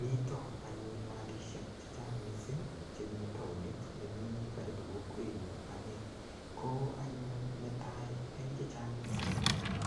mii taoon anyuun malishek chechang mising chemii taonit chemii karibu kokweet nyuun anee, koo anyuun netai en chechang mising